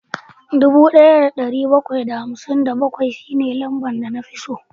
Dubu daya da dari bakwai da hamsin da bakwai shine lambar da na fi so